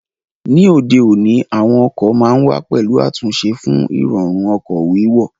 Ní òde òní, àwọn ọkọ̀ ma ń wà pẹ̀lú àtúnṣe fún Ìrọ̀rùn ọkọ̀ wíwọ̀